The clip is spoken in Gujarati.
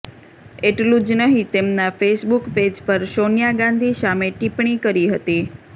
એટલુ જ નહીં તેમના ફેસબૂક પેજ પર સોનિયા ગાંધી સામે ટિપ્પણી કરી હતી